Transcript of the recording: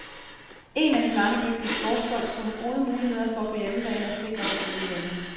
En af de mange dygtige sportsfolk skulle have gode muligheder for på hjemmebane at sikre sig guldmedaljen.